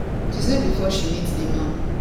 she say before she meet di man